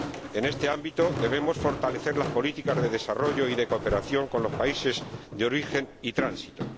En este ámbito debemos fortalecer las políticas de desarrollo y de cooperación con los países de origen y tránsito.